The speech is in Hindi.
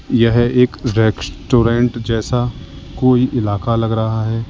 यह एक रेस्टोरेंट जैसा कोई इलाका लग रहा है।